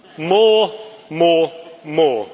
More, more, more.